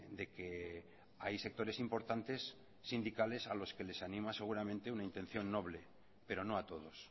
de que hay sectores importantes sindicales a los que les ánima seguramente una intención noble pero no a todos